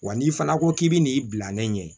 Wa n'i fana ko k'i bɛ n'i bila ne ɲɛ ye